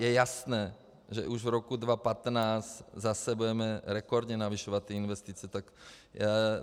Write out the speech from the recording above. Je jasné, že už v roce 2015 zase budeme rekordně navyšovat ty investice.